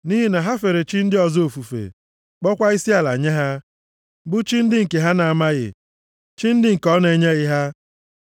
Nʼihi na ha fere chi ndị ọzọ ofufe, kpọọkwa isiala nye ha, bụ chi ndị nke ha na-amaghị, chi ndị nke ọ na-enyeghị ha.